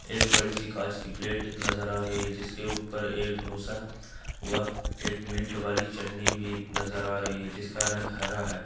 एक बड़ी सी कांच की प्लेट नजर आ रही है जिसके ऊपर एक डोसा व एक मिंट वाली चटनी भी नजर आ रही है इसका रंग हरा है।